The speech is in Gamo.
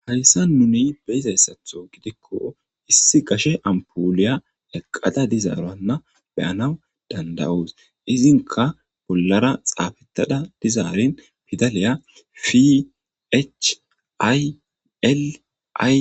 hayssan nuni beyizayssatho gidikko issi gashe ampuliya leqqada dizaaroanna beyanaw dandawuus izinka bollara xaafetada dizaarin fidaliya fhili